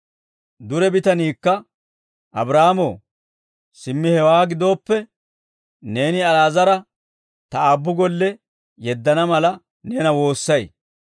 «Dure bitaniikka, ‹Abraahaamo, simmi hewaa gidooppe, neeni Ali'aazara ta aabbu golle yeddana mala, neena woossay.